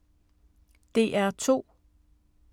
DR2